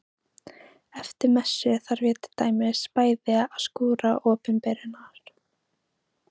Eftir messu þarf ég til dæmis bæði að skúra opinberunar